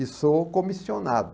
E sou comissionado.